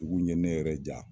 Dugu in ɲe ne yɛrɛ ja